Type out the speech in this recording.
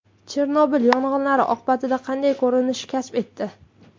Chernobil yong‘inlar oqibatida qanday ko‘rinish kasb etdi?